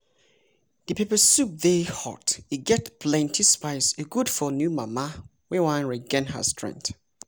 di pepper soup dey hot e get plenty spice e good for new mama wey wan regain her strength.